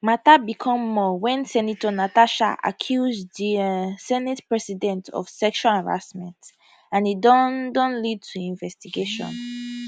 matter become more wen senator natasha accuse di um senate president of sexual harassment and e don don lead to investigation